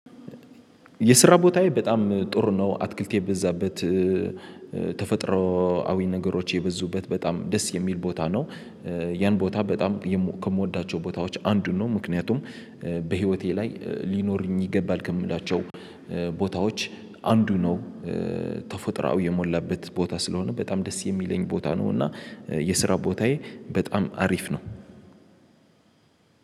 የስራ ቦታዬ በጣም ጥሩ ነው አትክልት የበዛበት ተፈጥሮአዊ ነገሮች የበዙበት በጣም ደስ የሚል ቦታ ነው። ያን ቦታ በጣም ከምወዳቸው ቦታዎች አንዱን ነው። ምክንያቱም በህይወቴ ላይ ሊኖሩኝ ይገባል ከምላቸው ቦታዎች አንዱ ነው። ተፎጥራዊ የሞላበት ቦታ ስለሆነ በጣም ደስ የሚለኝ ቦታ ነው። እና የስራ ቦታዬ በጣም አሪፍ ነው።